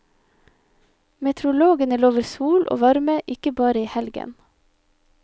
Meteorologene lover sol og varme, ikke bare i helgen.